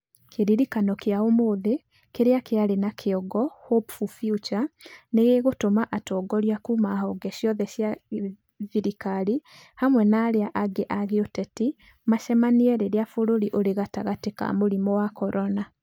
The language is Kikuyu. Kĩririkano kĩa ũmũthĩ kĩrĩa kĩarĩ na kĩongo "Hopeful Future" nĩ gĩgũtũma atongoria kuuma honge ciothe cia thirikari hamwe na arĩa angĩ a gĩũteti macemanie rĩrĩa bũrũri ũrĩ gatagatĩ ka mũrimũ wa Corona.